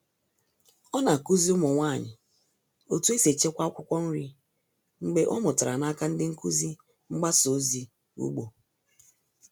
Ọ na-akụzi ụmụ nwanyị otu esi echekwa akwụkwọ nri mgbe ọ mụtara n'aka ndị nkuzi mgbasa ozi ugbo.